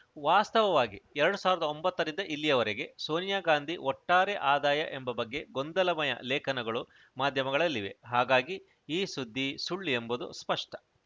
ವಾಸ್ತವಾಗಿ ಎರಡ್ ಸಾವಿರದ ಒಂಬತ್ತರಿಂದ ಇಲ್ಲಿಯವರೆಗೆ ಸೋನಿಯಾ ಗಾಂಧಿ ಒಟ್ಟಾರೆ ಆದಾಯ ಎಂಬ ಬಗ್ಗೆ ಗೊಂದಲಮಯ ಲೇಖನಗಳು ಮಾಧ್ಯಮಗಳಲ್ಲಿವೆ ಹಾಗಾಗಿ ಈ ಸುದ್ದಿ ಸುಳ್ಳು ಎಂಬುದು ಸ್ಪಷ್ಟ